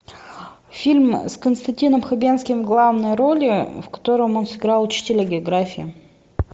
фильм с константином хабенским в главной роли в котором он сыграл учителя географии